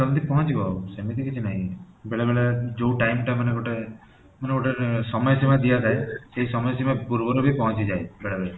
ଜଲଦି ପହଁଚିବ ସେମିତି କିଛି ନାଇଁ ବେଳେ ବେଳେ ଯୋଉ time ଟା ମାନେ ଗୋଟେ ମାନେ ଗୋଟେ ସମୟ ସୀମା ଦିଆଯାଏ ସେଇ ସମୟ ସୀମା ପୂର୍ବରୁ ଭି ପହଁଚିଯାଏ ବେଳେ ବେଳେ